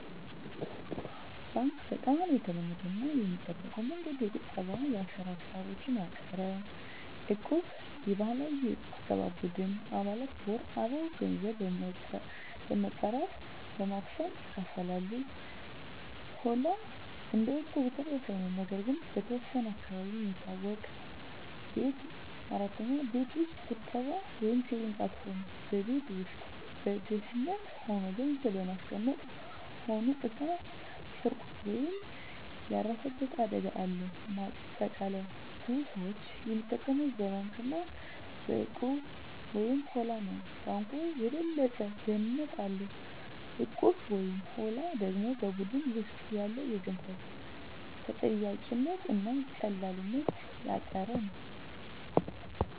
1. ባንክ (Bank) - በጣም የተለመደው እና የሚጠበቀው መንገድ። የቁጠባ እና የአሰራ ሂሳቦችን ያቀፈ። 2. እቁብ (Equb) - የባህላዊ የቁጠባ ቡድን። አባላት በወር አበው ገንዘብ በመጠራት በማክሰሞ ይካፈላሉ። 3. ሆላ (Holla) - እንደ እቁብ ተመሳሳይ ነው፣ ነገር ግን በተወሰነ አካባቢ የሚታወቅ። 4. ቤት ውስጥ ቁጠባ (Saving at Home) - በቤት ውስጥ በደህንነት ሆኖ ገንዘብ ማስቀመጥ። ሆኖ እሳት፣ ስርቆት ወይም ያለፈበት አደጋ አለው። ማጠቃለያ ብዙ ሰዎች የሚጠቀሙት በባንክ እና በእቁብ/ሆላ ነው። ባንኩ የበለጠ ደህንነት አለው፣ እቁቡ/ሆላው ደግሞ በቡድን ውስጥ ያለ የገንዘብ ተጠያቂነት እና ቀላልነት ያቀፈ ነው።